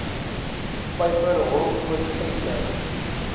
vyver horrelpoot venter